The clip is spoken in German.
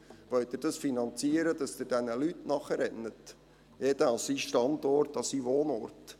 Wollen Sie es finanzieren, dass Sie diesen Leuten nachrennen, bei jedem an seinen Standort, an seinen Wohnort?